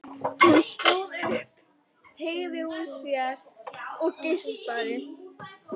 Hún stóð upp, teygði úr sér og geispaði.